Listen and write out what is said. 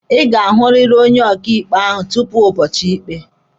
Ị ga-ahụrịrị onye ọkaịkpe ahụ tupu ụbọchị ikpe!